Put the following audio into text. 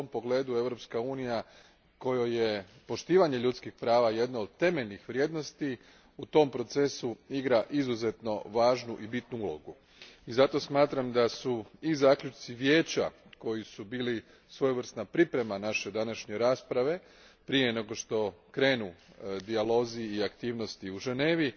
U tom pogledu Europska unija, kojoj je poštovanje ljudskih prava jedna od temeljnih vrijednosti, u tom procesu igra izuzetno važnu i bitnu ulogu i zato smatram da su i zaključci Vijeća, koji su bili svojevrsna priprema naše današnje rasprave prije nego što krenu dijalozi i aktivnosti u Ženevi,